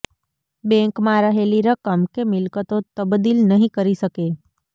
બેંકમાં રહેલી રકમ કે મિલ્કતો તબદીલ નહીં કરી શકે